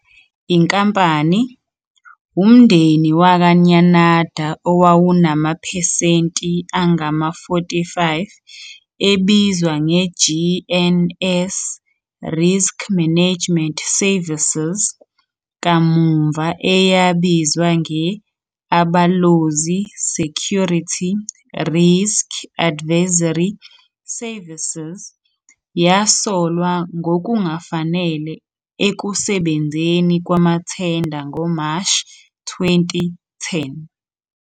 Inkampani, umndeni wakwaNyanada owawunamaphesenti angama-45, ebizwa nge-GNS Risk Management Services, kamuva eyabizwa nge-Abalozi Security Risk Advisory Services, yasolwa ngokungafanele ekusebenzeni kwamathenda ngoMashi 2010.